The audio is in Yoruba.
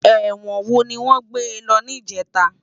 Èwòn wó niwòn gbé lò nijètá?